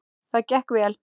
Það gekk vel.